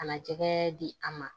Kana jɛgɛ di a ma